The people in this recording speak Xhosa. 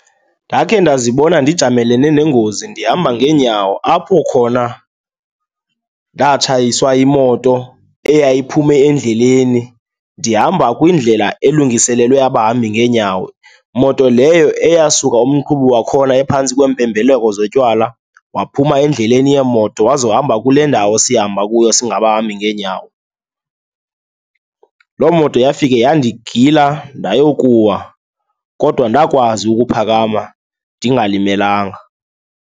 Ndakhe ndazibona ndijamelene nengozi ndihamba ngeenyawo apho khona ndatshayiswa yimoto eyayiphume endleleni ndihamba kwindlela elungiselelwe abahambi ngeenyawo. Moto leyo eyasuka umqhubi wakhona ephantsi kwempembeleko zotywala, waphuma endleleni yeemoto wazohamba kule ndawo sihamba kuyo singabahambi ngeenyawo. Loo moto yafika yandigila ndayokuwa kodwa ndakwazi ukuphakama ndingalimelanga.